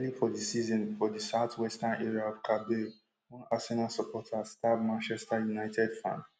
early for di season for di southwestern area of kabale one arsenal supporter stab manchester united fan